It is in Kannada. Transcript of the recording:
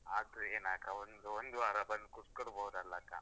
ಆದ್ರೂ ಏನ್ ಅಕ್ಕಾ ಒಂದ್ ಒಂದು ವಾರ ಬಂದ್ ಕೂತ್ಕೊಳ್ಬೋದಲ್ಲ ಅಕ್ಕ.